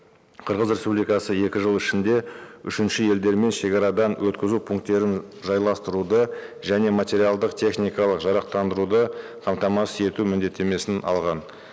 қырғыз республикасы екі жыл ішінде үшінші елдермен шегарадан өткізу пункттерін жайластыруды және материалдық техникалық жарақтандыруды қамтамасыз ету міндеттемесін алған